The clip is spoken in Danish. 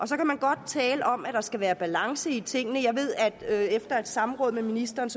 så kan man godt tale om at der skal være balance i tingene jeg ved efter et samråd med ministeren